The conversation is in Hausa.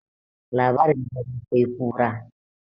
labarin dare sai kura